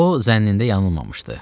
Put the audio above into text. O zənnində yanılmamışdı.